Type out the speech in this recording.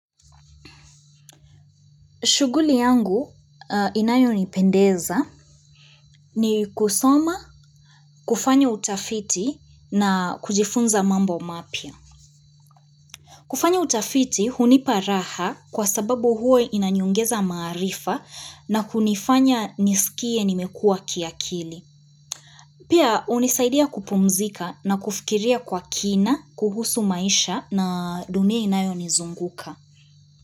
Shughuli yangu inayonipendeza ni kusoma kufanya utafiti na kujifunza mambo mapya. Kufanya utafiti hunipa raha kwa sababu huwa inaniongeza maarifa na kunifanya nisikie nimekua kiakili. Pia unisaidia kupumzika na kufikiria kwa kina, kuhusu maisha na dunia inayo nizunguka.